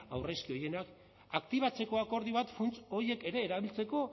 aurrezki horienak aktibatzeko akordio bat funts horiek ere erabiltzeko